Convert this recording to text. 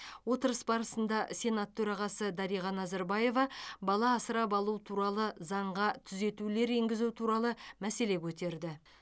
отырыс барысында сенат төрағасы дариға назарбаева бала асырап алу туралы заңға түзетулер енгізу туралы мәселе көтерді